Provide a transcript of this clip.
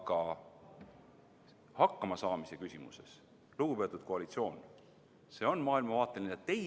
Aga hakkama saamise küsimuses, lugupeetud koalitsioon, on see maailmavaateline teema.